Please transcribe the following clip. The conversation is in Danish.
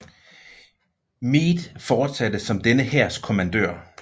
Meade fortsatte som denne hærs kommandør